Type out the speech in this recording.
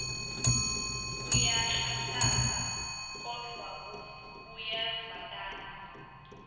uyanhlanhlatsa kodvwa kuyevakala